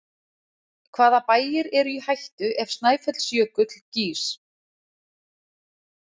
Hvaða bæir eru í hættu ef Snæfellsjökull gýs?